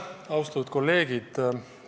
Austatud kolleegid!